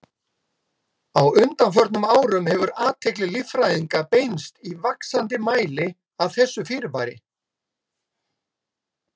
Á undanförnum árum hefur athygli líffræðinga beinst í vaxandi mæli að þessu fyrirbæri.